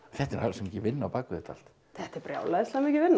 þetta er mikil vinna á bak við þetta allt þetta er brjálæðislega mikil vinna